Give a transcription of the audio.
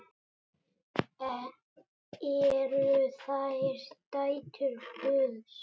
Eru þær dætur Guðs?